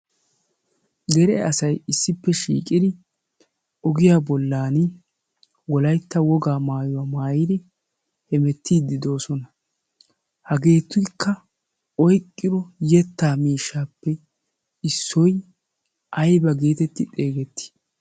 dere asai issippe shiiqidi ogiyaa bollan wolaitta wogaa maayuwaa maayiri hemettiiddidoosona. hageetuikka oiqqiro yettaa miishshaappe issoy aiba geetetti xeegettii?